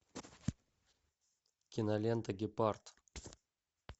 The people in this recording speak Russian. кинолента гепард